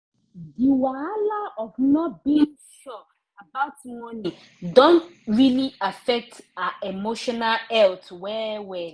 di wahala of not being sure about money don really affect her emotional health well well